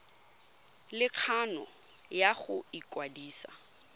le kgano ya go ikwadisa